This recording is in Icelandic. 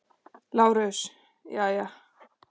LÁRUS: Jæja.